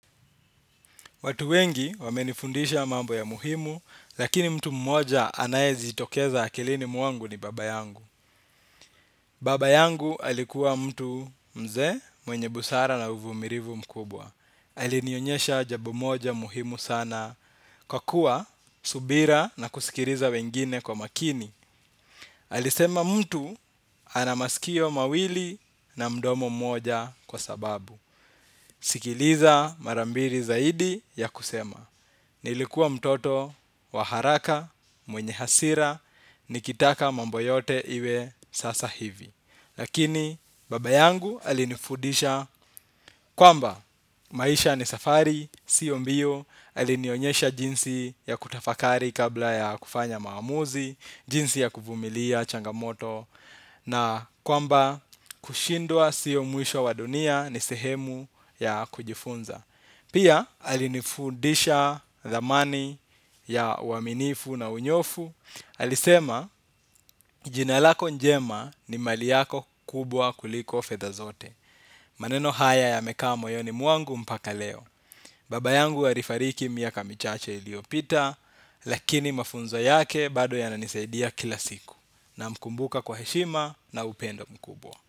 Watu wengi wamenifundisha mambo ya muhimu, lakini mtu mmoja anayejitokeza akilini mwangu ni baba yangu. Baba yangu alikuwa mtu mzee, mwenye busara na uvumilivu mkubwa. Alinionyesha jambo moja muhimu sana kwa kuwa subira na kusikiliza wengine kwa makini. Alisema mtu anamasikio mawili na mdomo mmoja kwa sababu. Sikiliza mara mbiri zaidi ya kusema, nilikuwa mtoto wa haraka, mwenye hasira, nikitaka mambo yote iwe sasa hivi. Lakini baba yangu alinifudisha kwamba maisha ni safari, sio mbio, alinionyesha jinsi ya kutafakari kabla ya kufanya maamuzi, jinsi ya kuvumilia changamoto. Na kwamba kushindwa sio mwisho wa dunia ni sehemu ya kujifunza. Pia alinifundisha dhamani ya uaminifu na unyoofu. Alisema jinalako njema ni mali yako kubwa kuliko fedha zote. Maneno haya yamekaa moyoni mwangu mpaka leo. Baba yangu alifariki miaka michache iliopita. Lakini mafunzo yake bado yananisaidia kila siku. Namkumbuka kwa heshima na upendo mkubwa.